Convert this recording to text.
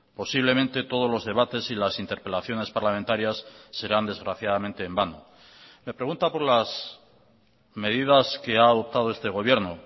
posiblemente todos los debates y las interpelaciones parlamentarias serán desgraciadamente en vano me pregunta por las medidas que ha adoptado este gobierno